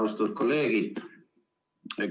Austatud kolleegid!